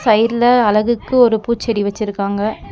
சைடுல அழகுக்கு ஒரு பூச்செடி வச்சுருக்காங்க.